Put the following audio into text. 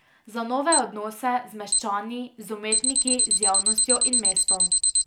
Za nove odnose z meščani, z umetniki, z javnostjo in mestom.